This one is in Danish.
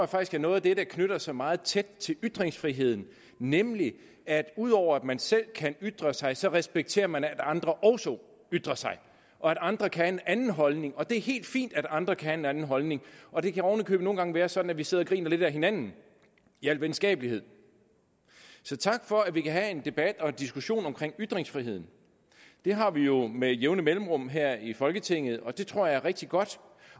faktisk er noget af det der knytter sig meget tæt til ytringsfriheden nemlig at ud over at man selv kan ytre sig sig respekterer man at andre også ytrer sig og at andre kan have en anden holdning og det er helt fint at andre kan have en anden holdning og det kan oven i købet nogle gange være sådan at vi sidder og griner lidt ad hinanden i al venskabelighed så tak for at vi kan have en debat og diskussion om ytringsfriheden det har vi jo med jævne mellemrum her i folketinget og det tror jeg er rigtig godt